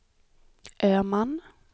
Öhman